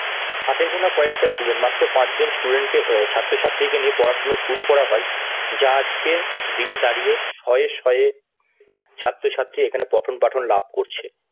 হাতেগোনা কয়েকটা student মাত্র পাঁচ জন student কে অ্যাঁ ছাত্র-ছাত্রী কে নিয়ে পড়াশোনা শুরু করা হয় যা আজকে দিনে দাঁড়িয়ে শয়ে শয়ে ছাত্র-ছাত্রী এখানে পঠন পাঠন লাভ করছে।